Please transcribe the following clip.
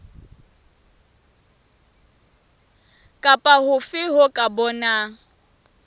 kapa hofe ho ka bang